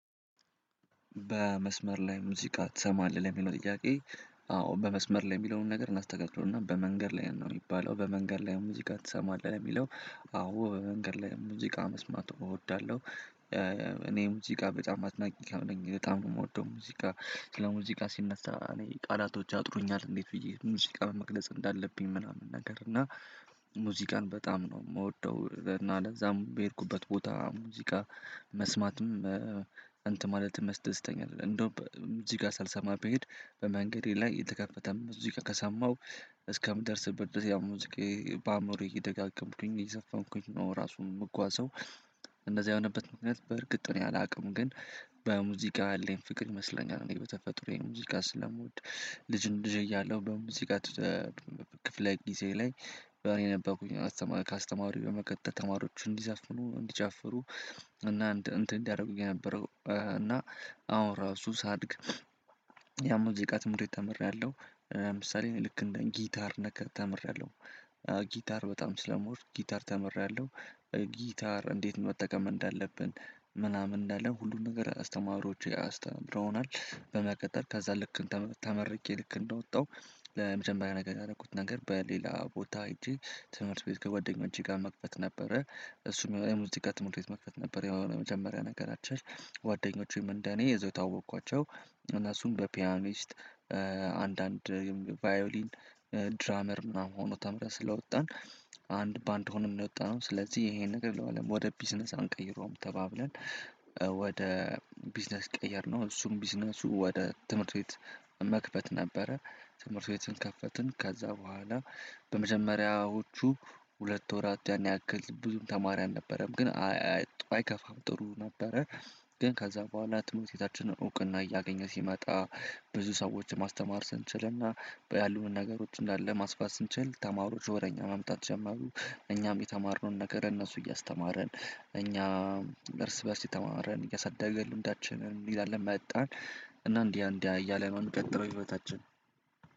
በመስመር ላይ ሙዚቃ ትሰማለህ የሚለው ጥያቄ? አዎ በመስመር ላይ የሚለውን ነገር ማስተካከል እና በመንገድ ላይ ነው የሚባለው በመንገድ ላይ ሙዚቃ ትሰማለህ የሚለው? አዎ በመንገድ ላይ ሙዚቃ መስማቱን እወዳለሁ። እኔ ሙዚቃ በጣም አጥናቂ ሰው ነኝ በጣም ነው የምወደው ሙዚቃ። ስለ ሙዚቃ ሲነሳ እኔ ቃላቶች ያጥሩኛል እንዴት ብዬ ሙዚቃ መግለጽ እንዳለብኝ ምናምን ነገር እና። ሙዚቃን በጣም ነው የምወደው። እና ለዛም በሄድኩበት ቦታ ሙዚቃ መስማትም እንተን ማለትም ያስደስተኛል። እንደው ሙዚቃ ሳልሰማ ቢሄድ በመንገዴ ላይ የተከፈተም እዚህ ከሰማሁ እስከምደርስበት ድረስ ያው ሙዝቃየ በአእምሮዬ እየደጋገምኩኝ እየዘፈንኩኝ ነው ራሱን የምጓዘው። እንደዚህ የሆነበት ምክንያት በእርግጥ እኔ አላቅም ግን። በሙዚቃ ያለኝ ፍቅር ይመስለኛል እኔ በተፈጥሮዬ ሙዚቃ ስለምወድ። ልጅን ልጅ እያለሁ በሙዚቃ ክፍለ ጊዜ ላይ እኔ ነበርኩኝ ከአስተማሪው በመቀጠል ተማሪዎች እንዲዘፍኑ እንዲጨፍሩ እና እንትን እንዲያደርጉ የነበረው። እና አሁን እራሱ ሳድግ የሙዚቃ ትምህርት ቤት ተምሬያለሁ። ለምሳሌ ልክ እንደ ጊታር ተምሬያለሁ። ጊታር በጣም ስለምወድ ጊታር ተምሬያለሁ ጊታር እንዴት መጠቀም እንዳለብን ምናምን እንዳለ ሁሉን ነገር አስተማሪዎች አስተምረውናል። በመቀጠል ከዛ ልክ ተመርቄ ልክ እንደወጣሁ ለመጀመሪያ ነገር ያደረኩት ነገር በሌላ ቦታ ሄጄ ትምህርት ቤት ከጓደኞቼ ጋር መክፈት ነበረ። እሱም የሙዚቃ ትምህርት ቤት መክፈት ነበረ የሆነ የመጀመሪያ ነገራችን ጓደኞቼም እንደኔ እዛው የተዋወኩአቸው። እነሱም በፒያኒስት አንዳንድ ቫዮሊን ድራመር ምናምን ሆኖ ተምረን ስለወጣን። አንድ በአንድ ሆነን የወጣነው ስለዚህ ይሄንን ነገር ለምን ወደ ቢዝነስ አንቀይረውም ተባብለን? ወደ ቢዝነስ ቀየርነው እሱም ቢዝነሱ ወደ ትምህርት ቤት መክፈት ነበረ። ትምህርት ቤትን ከፈትን ከዛ በኋላ በመጀመሪያዎቹ ሁለት ወራት ያን ያክል ብዙም ተማሪ አልነበረም ግን አይ አይከፋም ጥሩ ነበረ። ግን ከዛ በኋላ ትምህርት ቤታችንን እውቅና እያገኘ ሲመጣ ብዙ ሰዎችን ማስተማር ስንችልና ያሉንን ነገሮች እንዳለ ማስፋት ስንችል ተማሪዎች ወደ እኛ መምጣት ጀመሩ። እኛም የተማርነውን ነገር ለእነሱ እያስተማርን እኛ እርስ በእርስ የተማርን እያሳደግን ልምዳችንን ይዘን መጣን። እና እንዲህ እንዲህ እያለ ነው የሚቀጥለው ህይወታችን